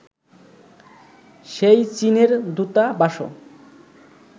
সেই চীনের দূতাবাসও